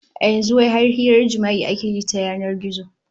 A yanzu wai har hirar jima'i ake yi ta yanan gizo